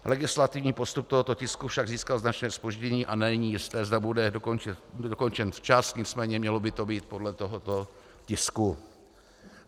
Legislativní postup tohoto tisku však získal značné zpoždění a není jisté, zda bude dokončen včas, nicméně mělo by to být podle tohoto tisku.